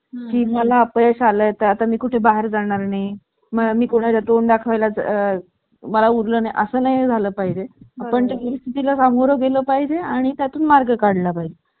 की मला अपयश आले तर आता मी कुठे बाहेर जाणार नाही मी कुणाच्या तोंड दाखवाय ला मला उरला नाही असं नाही झालं पाहिजे पण ही स्थिती ला सामोरे गेले पाहिजे आणि त्यातून मार्ग काढला पाहिजे